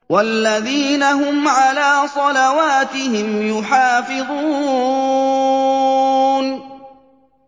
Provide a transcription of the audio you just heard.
وَالَّذِينَ هُمْ عَلَىٰ صَلَوَاتِهِمْ يُحَافِظُونَ